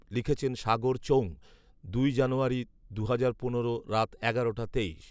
লিখেছেন সাগর চৌং, দুই জানুয়ারি, দুহাজার পনেরো, রাত এগারোটা তেইশ